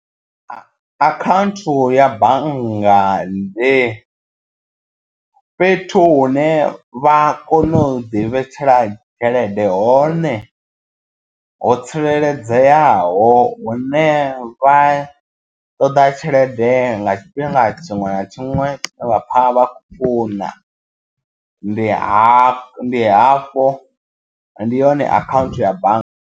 Akhanthu ya banngani ndi fhethu hune vha kone u ḓi vhetshela tshelede hone ho tsireledzeaho hune vha ṱoḓa tshelede nga tshifhinga tshiṅwe na tshiṅwe vha pfha vha khou funa ndi hafho ndi hafho ndi hone akhaunthu ya bannga.